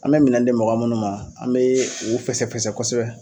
An bɛ minɛn di mɔgɔ minnu ma an bee o fɛsɛfɛsɛ kosɛbɛ.